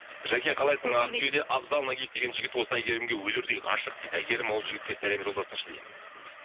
жаке қалайсың абзал нагиев деген жігіт осы әйгерімге өлердей ғашық дейді әйгерім ол жігітке сәлем жолдасыншы дейді